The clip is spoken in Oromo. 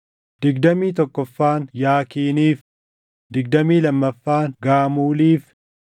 digdamii tokkoffaan Yaakiiniif, digdamii lammaffaan Gaamuuliif,